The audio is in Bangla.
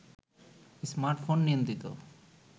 স্মার্টফোন নিয়ন্ত্রিত